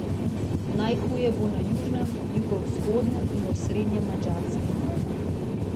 Najhuje bo na južnem, jugovzhodnem in osrednjem Madžarskem.